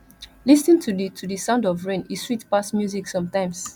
lis ten to the to the sound of rain e sweet pass music sometimes